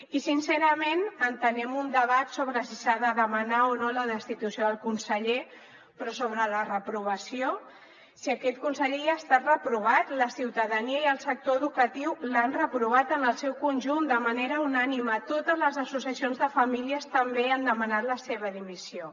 i sincerament entenem un debat sobre si s’ha de demanar o no la destitució del conseller però sobre la reprovació si aquest conseller ja ha estat reprovat la ciutadania i el sector educatiu l’han reprovat en el seu conjunt de manera unànime totes les associacions de famílies també han demanat la seva dimissió